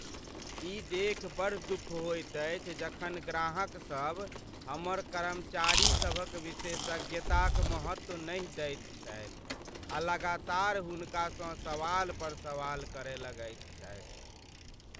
ई देखि बड़ दुख होइत अछि जखन ग्राहकसभ हमर कर्मचारीसभक विशेषज्ञताक महत्व नहि दैत छथि आ लगातार हुनकासँ सवाल पर सवाल करय लगैत छथि।